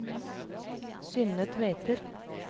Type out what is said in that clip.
Synne Tveter